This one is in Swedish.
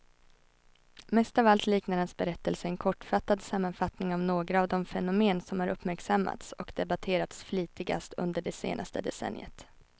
Mest av allt liknar hans berättelse en kortfattad sammanfattning av några av de fenomen som har uppmärksammats och debatterats flitigast under det senaste decenniet.